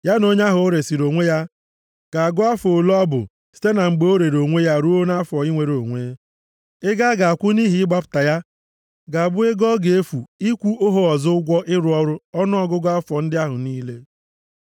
Ya na onye ahụ o resiri onwe ya ga-agụ afọ ole ọ bụ site na mgbe o rere onwe ya ruo nʼafọ inwere onwe. Ego a ga-akwụ nʼihi ịgbapụta ya ga-abụ ego ọ ga-efu ịkwụ ohu ọzọ ụgwọ ịrụ ọrụ ọnụọgụgụ afọ ndị ahụ niile.